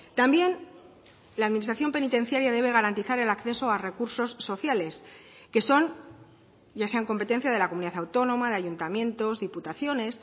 también la administración penitenciaria debe garantizar el acceso a recursos sociales que son ya sean competencia de la comunidad autónoma de ayuntamientos diputaciones